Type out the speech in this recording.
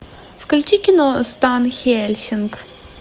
включи кино стан хельсинг